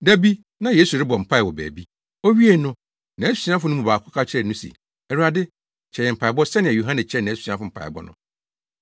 Da bi, na Yesu rebɔ mpae wɔ baabi. Owiei no, nʼasuafo no mu baako ka kyerɛɛ no se, “Awurade, kyerɛ yɛn mpaebɔ sɛnea Yohane kyerɛɛ nʼasuafo mpaebɔ no.”